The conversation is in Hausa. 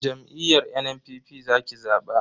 Jam'iyyar NNPP zaki zaba.